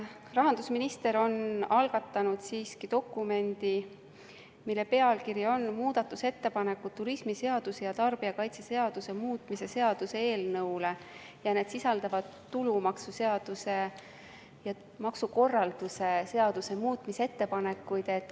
Rahandusminister on algatanud dokumendi, mille pealkiri on "Muudatusettepanekud turismiseaduse ja tarbijakaitseseaduse muutmise seaduse eelnõule" ja see sisaldab tulumaksuseaduse ja maksukorralduse seaduse muutmise ettepanekuid.